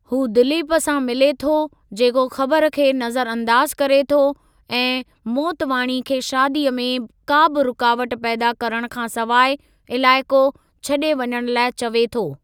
हू दिलीप सां मिले थो जेको ख़बर खे नज़र अंदाज़ु करे थो ऐं मोतवाणी खे शादीअ में का बि रुकावट पैदा करणु खां सवाइ इलाइक़ो छॾे वञणु लाइ चवे थो।